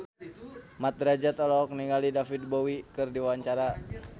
Mat Drajat olohok ningali David Bowie keur diwawancara